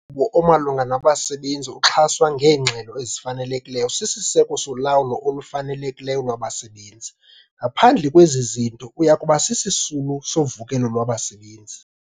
Umgaqo-nkqubo omalunga nabasebenzi oxhaswa ngeengxelo ezifanelekileyo sisiseko solawulo olufanelekileyo lwabasebenzi. Ngaphandle kwezi zinto uya kuba sisisulu sovukelo lwabasebenzi.